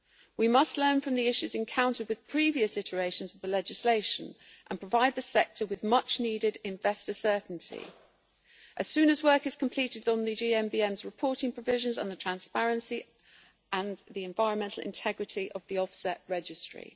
We must learn from the issues encountered with previous iterations of the legislation and provide the sector with much needed investor certainty as soon as work is completed on the GMBM's reporting provisions on the transparency and the environmental integrity of the offset registry.